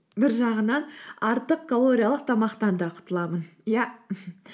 бір жағынан артық калориялық тамақтан да құтыламын иә